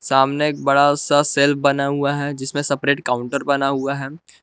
सामने एक बड़ा सा सेल बना हुआ है जिसमें सेपरेट काउंटर बना हुआ है।